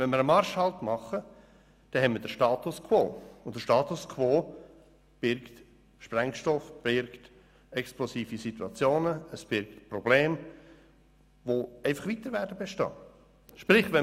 Denn wenn wir einen Marschhalt einlegen, haben wir den Status quo, und der Status quo birgt explosive Situationen und Probleme, die weiter bestehen werden.